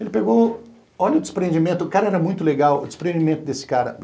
Ele pegou, olha o desprendimento, o cara era muito legal, o desprendimento desse cara.